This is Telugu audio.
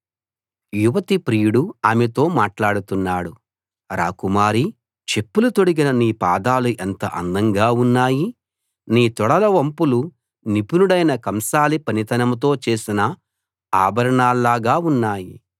యువతి ప్రియుడు ఆమెతో మాట్లాడుతున్నాడు రాకుమారీ చెప్పులు తొడిగిన నీ పాదాలు ఎంత అందంగా ఉన్నాయి నీ తొడల వంపులు నిపుణుడైన కంసాలి పనితనంతో చేసిన ఆభరణాల్లాగా ఉన్నాయి